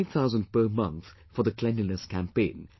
5000 per month for the Cleanliness Campaign